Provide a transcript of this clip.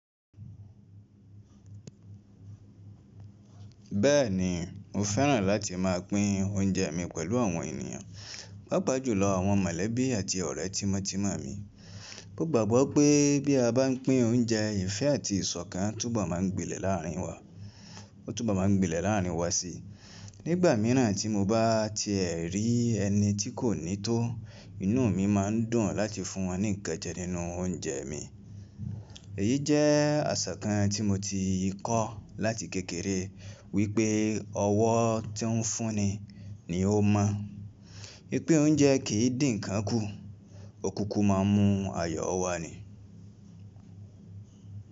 Bẹ́ẹ̀ni, mo fẹ́ràn láti máa pín oúnjẹ mi pẹ̀lú àwọn ènìyàn, pàápàá jùlọ àwọn mọ̀lẹ́bí àti ọ̀rẹ́ tímọ́tímọ́ mi. Mo gbàgbọ́ pé bí a bá ń pín oúnjẹ, ìfẹ́ àti ìṣọ̀kan túbọ̀ máa ń gbilẹ̀ láààrin wa. Ó túbọ̀ máa ń gbilẹ̀ láàárín wa sí i. Nígbà míràn tí mo bá ti ẹ̀ rí ẹni tí kò ní tó, inú mi má ń dùn láti fún wọn ní nǹkan jẹ nínú oúnjẹ mi. Èyí jẹ́ àṣà kan tí mo ti kọ́ láti kékeré wípé ọwọ́ tí ń fún ni, ni ó mọ́. Wípé oúnjẹ kì í dí nǹkán kù, ó kúkú máa ń mú ayọ̀ọ́ wá ni.